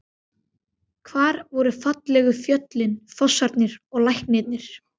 Hvar voru fallegu fjöllin, fossarnir og lækirnir?